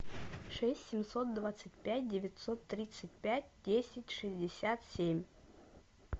шесть семьсот двадцать пять девятьсот тридцать пять десять шестьдесят семь